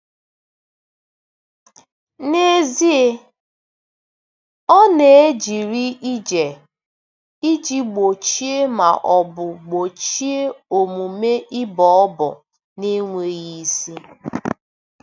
N'ezie, ọ na-ejere ije iji gbochie ma ọ bụ gbochie omume ịbọ ọbọ na-enweghị isi.